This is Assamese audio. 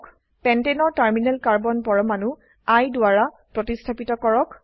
পেন্টেনেৰ টাৰ্মিনেল কাৰ্বন পৰমাণু I দ্বাৰা প্ৰতিস্থাপিত কৰক